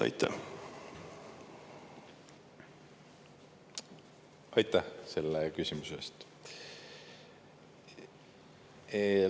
Aitäh selle küsimuse eest!